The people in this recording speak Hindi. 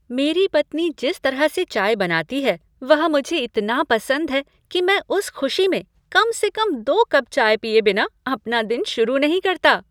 मेरी पत्नी जिस तरह से चाय बनाती है वह मुझे इतना पसंद है कि मैं उस खुशी में कम से कम दो कप चाय पीए बिना अपना दिन शुरू नहीं करता।